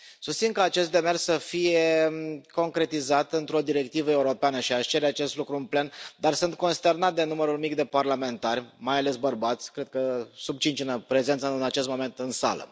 Susțin ca acest demers să fie concretizat într o directivă europeană și aș cere acest lucru în plen, dar sunt consternat de numărul mic de parlamentari, mai ales bărbați, cred că sub cinci prezenți în acest moment în sală.